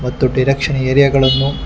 ಮತ್ತು direction area ಗಳನ್ನು--